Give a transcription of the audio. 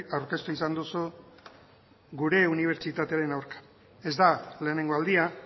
aurkeztu izan duzu gure unibertsitatearen aurka ez da lehenengo aldia